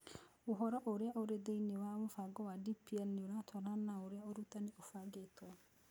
Ũhoro ũrĩa ũrĩ thĩinĩ wa mũbango wa DPL nĩ ũratwarana na ũrĩa ũrutani ũbangĩtwo.